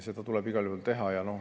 Seda tuleb igal juhul teha.